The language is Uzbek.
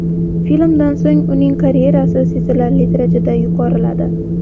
Filmdan so‘ng uning karyerasi sezilarli darajada yuqoriladi.